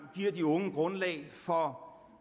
giver de unge grundlag for